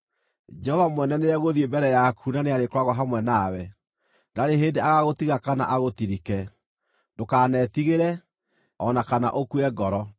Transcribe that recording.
Jehova mwene nĩegũthiĩ mbere yaku na nĩarĩkoragwo hamwe na we; ndarĩ hĩndĩ agaagũtiga kana agũtirike. Ndũkanetigĩre, o na kana ũkue ngoro.”